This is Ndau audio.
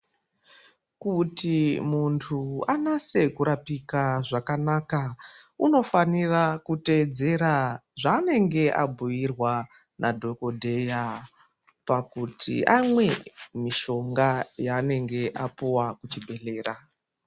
Kuti mundu anase kurapika zvakanaka unofanira kuteedzera zvaanenge abhiirwa nadhokodhera pakuti amwe nushonga yanenge apiwa kuchibhehlera.